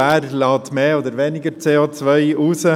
Wer stösst mehr oder weniger CO aus?